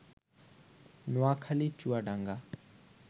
Noakhali, Chuadanga